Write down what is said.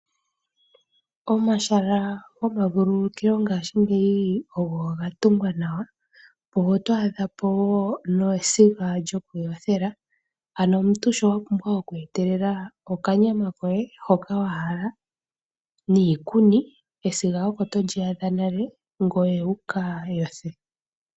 Omahala gomavululukilo ngaashingeyi ogo ga tungwa nawa. Oto adhapo woo nesiga lyoku yothela. Omuntu owa pumbwa oku etelela owala okanyama koye hoka wahala niikuni, esiga opo to li adha nale ngoye wuka yothe.